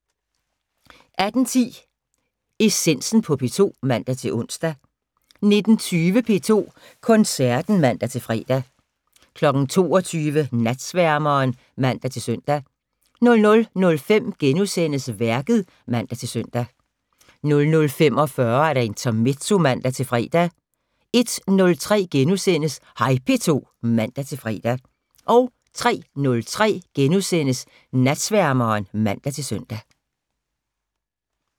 18:10: Essensen på P2 (man-ons) 19:20: P2 Koncerten (man-fre) 22:00: Natsværmeren (man-søn) 00:05: Værket *(man-søn) 00:45: Intermezzo (man-fre) 01:03: Hej P2 *(man-fre) 03:03: Natsværmeren *(man-søn)